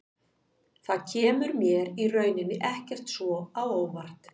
Það kemur mér í rauninni ekkert svo á óvart.